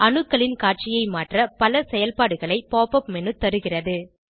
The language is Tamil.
அணுக்களின் காட்சியை மாற்ற பல செயல்பாடுகளை pop உப் மேனு தருகிறது